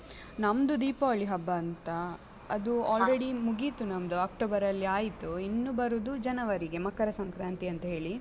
ನಮ್ದು ದೀಪಾವಳಿ ಹಬ್ಬ ಅಂತ, ಅದು. already ಮುಗೀತು ನಮ್ದು ಅಕ್ಟೋಬರಲ್ಲಿ ಆಯ್ತು, ಇನ್ನು ಬರುದು ಜನವರಿಗೆ ಮಕರ ಸಂಕ್ರಾಂತಿ ಅಂತ ಹೇಳಿ.